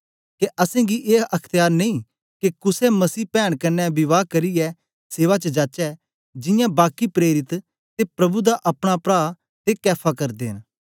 के असेंगी ए अख्त्यार नेई के कुसे मसीह पैन कन्ने विवाह करियै सेवा च जाचै जियां बाकी प्रेरित ते प्रभु दा अपना प्रा ते कैफा करदे न